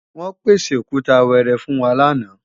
Wọ́n pèsè Òkúta wẹẹrẹ fún wa lánàá